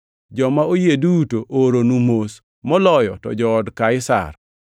Joma oyie duto ooronu mos, moloyo to jood Kaisar.